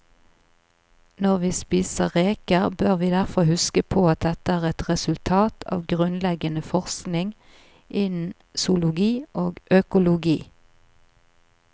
Når vi spiser reker, bør vi derfor huske på at dette er et resultat av grunnleggende forskning innen zoologi og økologi.